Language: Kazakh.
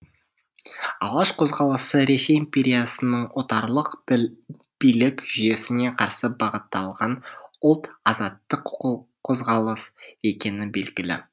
алаш қозғалысы ресей империясының орталық отарлық билік жүйесіне қарсы бағытталған ұлт азаттық қозғалыс екені белгілі